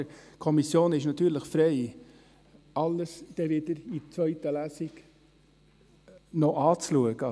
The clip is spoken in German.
Die Kommission ist natürlich frei, in der zweiten Lesung alles anzuschauen.